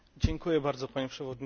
Panie Przewodniczący!